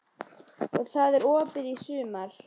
Og það er opið í sumar?